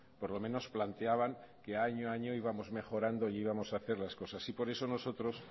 por lo menos planteaban que año a año íbamos mejorando e íbamos a hacer las cosas y por eso nosotros